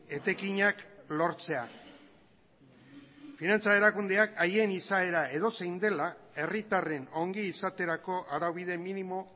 etekinak lortzea finantza erakundeak haien izaera edozein dela herritarren ongizaterako araubide minimo